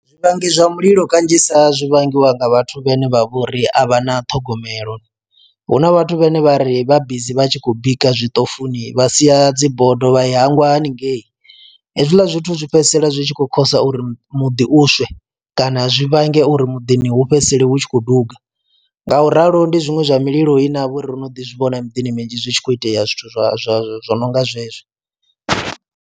Zwivhangi zwa mililo kanzhisa zwi vhangiwa nga vhathu vhene vha vhori a vha na ṱhogomelo huna vhathu vhane vha ri vha bizi vha tshi khou bika zwiṱofufuni vha sia dzi bodo vha i hangwa haningei. Hezwiḽa zwithu zwi fhedzisela zwi tshi khou khosa uri muḓi u swe kana zwi vhange uri muḓini hu fhedzisele hu tshi khou duga, ngauralo ndi zwiṅwe zwa mililo ine ha vha uri ro no ḓi zwivhona miḓini minzhi zwi tshi khou itea zwithu zwo zwo zwo zwo no nga zwezwi.